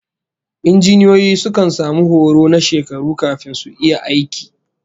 Injiniyoyi sukan samu horo na shekaru kafin su iya aiki